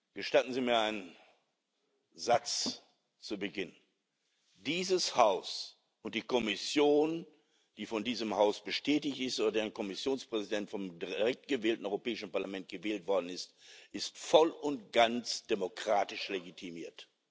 Gestatten Sie mir einen Satz zu Beginn Dieses Haus und die Kommission, die von diesem Haus bestätigt ist und deren Kommissionspräsident vom direkt gewählten Europäischen Parlament gewählt worden ist, sind voll und ganz demokratisch legitimiert.